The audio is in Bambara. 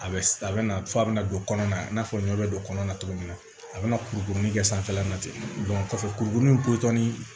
A bɛ a bɛ na fɔ a bɛ na don kɔnɔna i n'a fɔ ɲɔ bɛ don kɔnɔna cogo min na a bɛna kurukurunin kɛ sanfɛla la ten kɔfɛ kurukurunin potɔnin